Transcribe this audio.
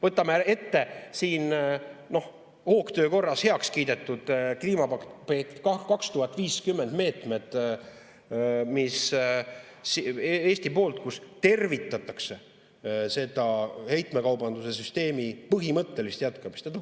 Võtame ette siin hoogtöö korras heaks kiidetud kliimapakett 2050 meetmed, kus Eesti tervitab seda heitmekaubanduse süsteemi põhimõttelist jätkamist.